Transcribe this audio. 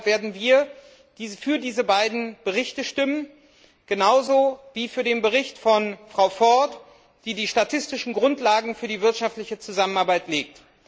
Deshalb werden wir für diese beiden Berichte stimmen, genauso wie für den Bericht von Frau Ford, die die statistischen Grundlagen für die wirtschaftliche Zusammenarbeit legt.